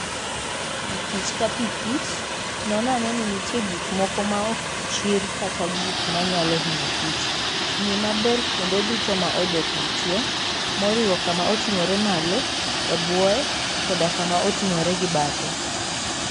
Pikich ka pikich, non ane ni nitie gik moko maok kichr kata gik manyalo hinyo kich. Ng'i maber kuonde duto ma odok nitie, moriwo kama oting'ore malo, e bwoye, koda kama oting'ore gi bathe.